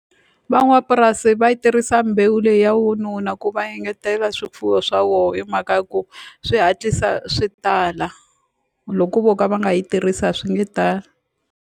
Van'wapurasi va yi tirhisa mbewu leyi ya vununa ku va engetela swifuwo swa voho hi mhaka ya ku swi hatlisa swi tala loko vo ka va nga yi tirhisi a swi nge tali.